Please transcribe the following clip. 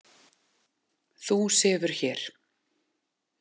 Þú sefur hér.